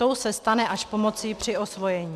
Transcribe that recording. Tou se stane až pomocí při osvojení.